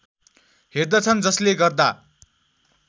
हेर्दछन् जसले गर्दा